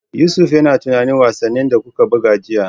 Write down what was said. Yusuf, yi tunanin wasannin da kuka buga jiya